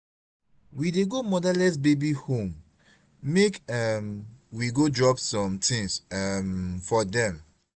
we dey go motherless babies home make um we go drop some tins um for dem.